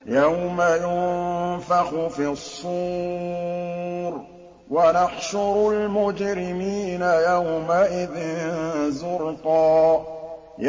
يَوْمَ يُنفَخُ فِي الصُّورِ ۚ وَنَحْشُرُ الْمُجْرِمِينَ يَوْمَئِذٍ زُرْقًا